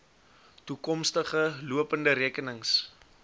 toekomstige lopende rekenings